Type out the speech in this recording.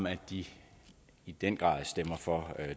at de i den grad stemmer for